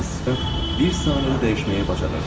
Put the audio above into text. Bu iblis sifət bir saniyədə dəyişməyi bacarırdı.